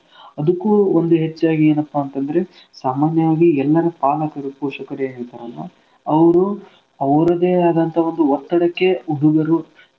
ಅದುಕ್ಕೂ ಒಂದು ಹೆಚ್ಚಾಗಿ ಏನಪಾ ಅಂತಂದ್ರೆ ಸಾಮಾನ್ಯವಾಗಿ ಎಲ್ಲರ ಪಾಲಕರು ಪೋಷಕರು ಏನ್ ಇರ್ತಾರಲ್ಲಾ ಅವ್ರು ಅವ್ರದೇ ಆದಂತಹ ಒಂದು ಒತ್ತಡಕ್ಕೆ ಹುಡುಗರು.